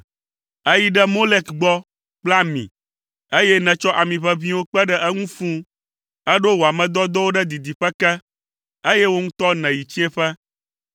Èyi ɖe Molek gbɔ kple ami, eye nètsɔ ami ʋeʋĩwo kpe ɖe eŋu fũu. Èɖo wò ame dɔdɔwo ɖe didiƒe ke, eye wò ŋutɔ nèyi tsiẽƒe!